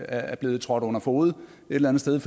er blevet trådt under fode et eller andet sted